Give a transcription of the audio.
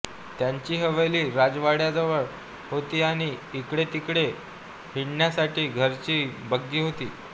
त्यांची हवेली राजवाडावजा होती आणि इकडेतिकडे हिंडण्यासाठी घरची बग्गी होती